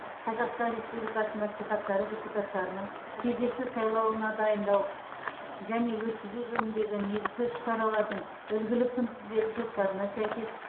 қазақстан республикасы мәслихаттары депутаттарының кезекті сайлауына дайындау және өткізу жөніндегі негізгі іс шаралардың үлгілік күнтізбелік жоспарына сәйкес